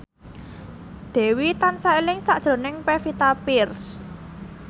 Dewi tansah eling sakjroning Pevita Pearce